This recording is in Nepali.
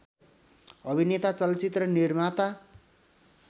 अभिनेता चलचित्र निर्माता